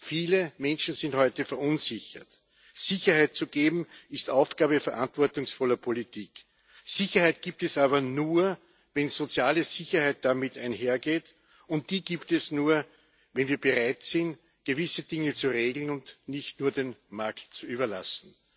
Viele Menschen sind heute verunsichert. Sicherheit zu geben, ist Aufgabe verantwortungsvoller Politik. Sicherheit gibt es aber nur, wenn soziale Sicherheit damit einhergeht, und die gibt es nur, wenn wir bereit sind, gewisse Dinge zu regeln und nicht nur dem Markt zu überlassen.